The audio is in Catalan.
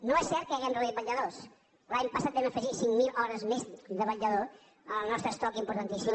no és cert que hàgim reduït vetlladors l’any passat vam afegir cinc mil hores més de vetllador en el nostre estoc importantíssim